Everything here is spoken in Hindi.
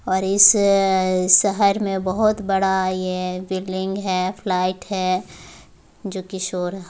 --और इस शहर में बहुत बड़ा ये बिल्डिंग है फ्लाइट है जो कि शोर--